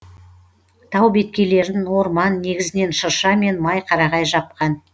тау беткейлерін орман негізінен шырша мен май қарағай жапқан